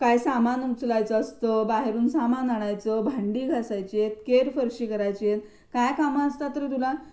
काय सामान उचलायच असतं. बाहेरून सामान आणायच. भांडी घासायची येत, केर फरशी करायचीये काय कामं असतात रे तुला?